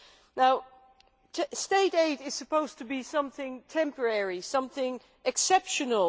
Now, state aid is supposed to be something temporary, something exceptional.